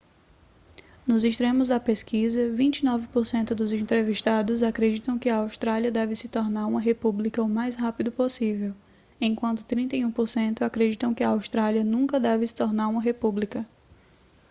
nos extremos da pesquisa 29% dos entrevistados acreditam que a austrália deve se tornar uma república o mais rápido possível enquanto 31% acreditam que a austrália nunca deve se tornar uma república